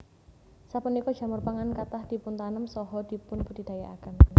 Sapunika jamur pangan kathah dipuntanem saha dipunbudidayakaken